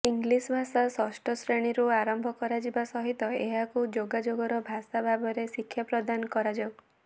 ଇଂଲିଶଭାଷା ଷଷ୍ଠ ଶ୍ରେଣୀରୁ ଆରମ୍ଭ କରାଯିବା ସହିତ ଏହାକୁ ଯୋଗାଯୋଗର ଭାଷା ଭାବରେ ଶିକ୍ଷା ପ୍ରଦାନ କରାଯାଉ